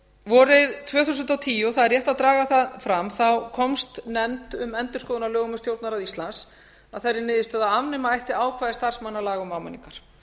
vorið tvö þúsund og tíu og það er rétt að draga það fram þá komst nefnd um endurskoðun á lögum um stjórnarráð íslands að þeirri niðurstöðu að afnema ætti ákvæði starfsmannalaga um áminningar